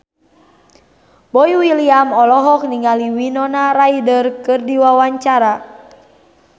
Boy William olohok ningali Winona Ryder keur diwawancara